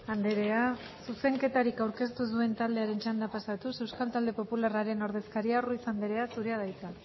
andrea zuzenketarik aurkeztu ez duen taldearen txanda pasatuz euskal talde popularraren ordezkaria ruiz andrea zurea da hitza